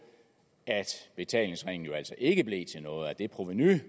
at betalingsringen jo altså ikke blev til noget og at det provenu